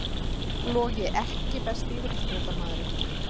Logi EKKI besti íþróttafréttamaðurinn?